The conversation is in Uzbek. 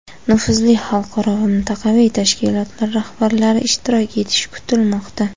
nufuzli xalqaro va mintaqaviy tashkilotlar rahbarlari ishtirok etishi kutilmoqda.